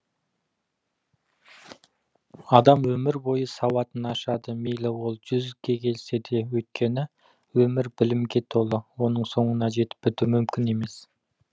адам өмір бойы сауатын ашады мейлі ол жүзге келсе де өйткені өмір білімге толы оның соңына жетіп біту мүмкін емес